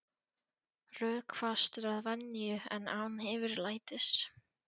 Rökfastur að venju en án yfirlætis.